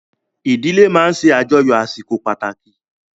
Ìdílé máa ń ṣe àjọyọ̀ àsìkò pàtàkì